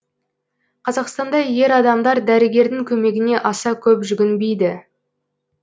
қазақстанда ер адамдар дәрігердің көмегіне аса көп жүгінбейді